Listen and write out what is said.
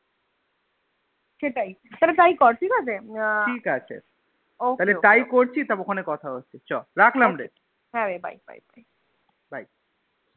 সেটাই তাহলে তাই কর ঠিকাছে ঠিকাছে ok তাহলে তাই করছি রাখলাম হ্যাঁ রে Bye Bye